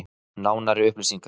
Nánari upplýsingar: